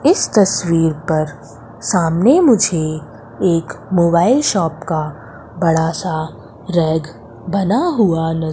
इस तस्वीर पर सामने मुझे एक मोबाइल शॉप का बड़ा सा रैक बना हुआ--